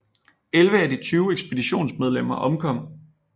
Elleve af de tyve ekspeditionsmedlemmer omkom